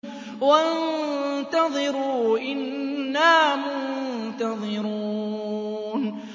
وَانتَظِرُوا إِنَّا مُنتَظِرُونَ